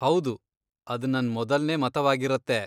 ಹೌದು, ಅದ್ ನನ್ ಮೊದಲ್ನೇ ಮತವಾಗಿರತ್ತೆ.